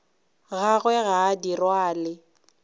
gagwe ga a di rwale